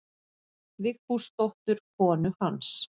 Vigfúsdóttur konu hans.